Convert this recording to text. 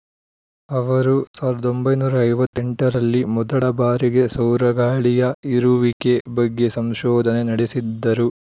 ಅವರು ಸಾವಿರದ ಒಂಬೈನೂರ ಐವತ್ತ್ ಎಂಟು ರಲ್ಲಿ ಮೊದಲ ಬಾರಿಗೆ ಸೌರ ಗಾಳಿಯ ಇರುವಿಕೆ ಬಗ್ಗೆ ಸಂಶೋಧನೆ ನಡೆಸಿದ್ದರು